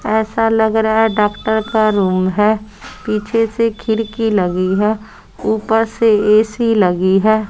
ऐसा लग रहा है डॉक्टर का रूम है पीछे से खिड़की लगी है ऊपर से ए_सी लगी है।